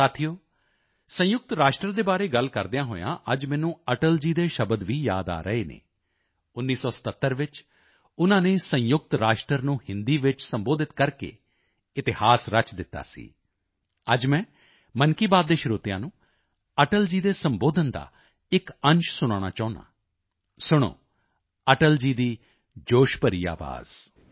ਸਾਥੀਓ ਸੰਯੁਕਤ ਰਾਸ਼ਟਰ ਦੇ ਬਾਰੇ ਗੱਲ ਕਰਦਿਆਂ ਹੋਇਆਂ ਅੱਜ ਮੈਨੂੰ ਅਟਲ ਜੀ ਦੇ ਸ਼ਬਦ ਵੀ ਯਾਦ ਆ ਰਹੇ ਹਨ 1977 ਵਿੱਚ ਉਨ੍ਹਾਂ ਨੇ ਸੰਯੁਕਤ ਰਾਸ਼ਟਰ ਨੂੰ ਹਿੰਦੀ ਵਿੱਚ ਸੰਬੋਧਿਤ ਕਰਕੇ ਇਤਿਹਾਸ ਰਚ ਦਿੱਤਾ ਸੀ ਅੱਜ ਮੈਂ ਮਨ ਕੀ ਬਾਤ ਦੇ ਸਰੋਤਿਆਂ ਨੂੰ ਅਟਲ ਜੀ ਦੇ ਸੰਬੋਧਨ ਦਾ ਇੱਕ ਅੰਸ਼ ਸੁਣਾਉਣਾ ਚਾਹੁੰਦਾ ਹਾਂ ਸੁਣੋ ਅਟਲ ਜੀ ਦੀ ਜੋਸ਼ ਭਰੀ ਆਵਾਜ਼